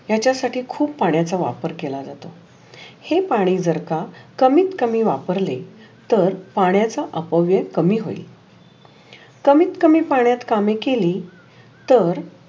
त्याच्यासाठी खुप पाण्याच्या वापर केला जातो. हे पाणी जर का कमीत कमीत वापरले. तर पाण्याच अपव्य कामी होइल. कमीत कमीत पाण्यात कामे केली तर